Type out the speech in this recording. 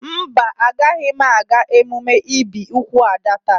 Mba, Agaghị m aga emume ibi úgwù Ada taa.